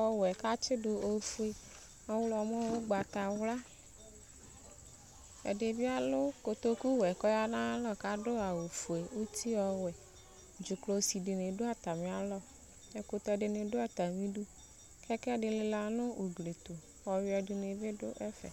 ɔwɛ k'atsi do ofue ɔwlɔmɔ ugbata wla ɛdi bi alo kotoku wɛ k'ɔya n'ayi alɔ k'ado awu fue uti ɔwɛ dzuklɔ si di ni do atamialɔ ɛkutɛ di ni do atami du kɛkɛ di lela n'ugli to ɔwiɛ di ni bi do ɛfɛ